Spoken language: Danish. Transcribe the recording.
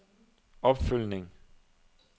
opfølgning